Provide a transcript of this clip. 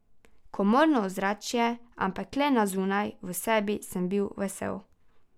Komorno ozračje, ampak le na zunaj, v sebi sem bil vesel.